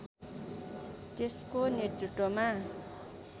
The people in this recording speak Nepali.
त्यसको नेतृत्वमा